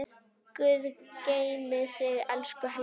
Guð geymi þig, elsku Helga.